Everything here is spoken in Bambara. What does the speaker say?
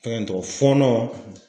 Fɛngɛ in tɔgɔ fɔnɔ.